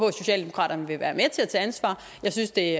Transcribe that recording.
at socialdemokratiet vil være med til at tage ansvar jeg synes det